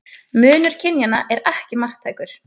Munur kynjanna er ekki marktækur.